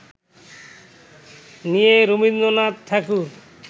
নিয়ে রবীন্দ্রনাথ ঠাকুর